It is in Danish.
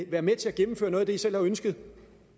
i være med til at gennemføre noget af det i selv har ønsket